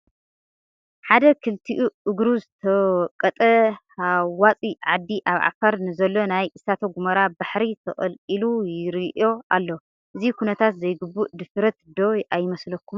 ሓደ ክልቲኡ እግሩ ዝተወቀጠ ሃዋፂ ዓዲ ኣብ ዓፋር ንዘሎ ናይ እሳተ ጐመራ ባሕሪ ተቐልቂሉ ይርእዮ ኣሎ፡፡ እዚ ኩነታት ዘይግቡእ ድፍረት ዶ ኣይመስለኩምን?